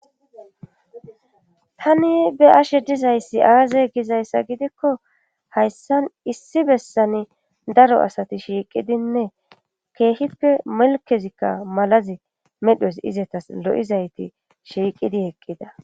tani be ashe dizayssi aaze gizayssa gidikko hayssan issi bessani daro asati shiiqidinne keehippe melkezikka malazi medhos izatas lo7izayti shiiqidi heqqida